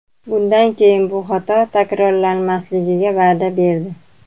Bundan keyin bu xato takrorlanmasligiga va’da berdi.